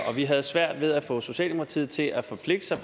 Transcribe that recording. og vi havde svært ved at få socialdemokratiet til at forpligte sig